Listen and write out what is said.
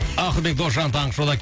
ақылбек досжан таңғы шоуда